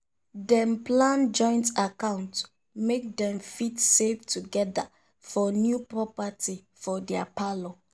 dem plan joint account make dem fit save together for new property for their parlour.